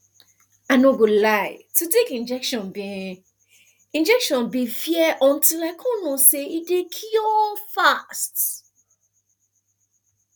i no go lie to take injection been injection been fear until i come know say e dey cure fast